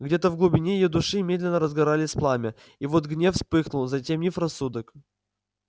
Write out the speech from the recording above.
где-то в глубине её души медленно разгоралось пламя и вот гнев вспыхнул затемнив рассудок